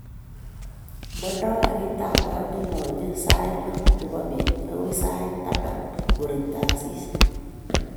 Mandoi garitab maat nalonyei sait loo nebo beet agoit saitab taman ngorekto asista